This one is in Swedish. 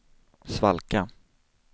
svalka